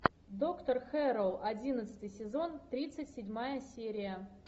доктор хэрроу одиннадцатый сезон тридцать седьмая серия